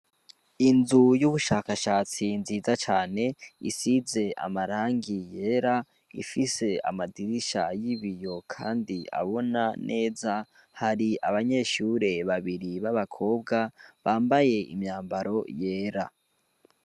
Inzu y'ubushakashatsi nziza cane isize amarangi yera ifise amadirisha yibiyo, kandi abona neza hari abanyeshure babiri b'abakobwa bambaye imyambaro yera.